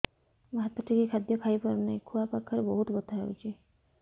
ମୁ ହାତ ଟେକି ଖାଦ୍ୟ ଖାଇପାରୁନାହିଁ ଖୁଆ ପାଖରେ ବହୁତ ବଥା ହଉଚି